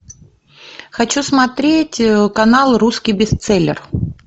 хочу смотреть канал русский бестселлер